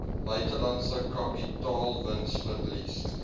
buitelandse kapitaalwins verlies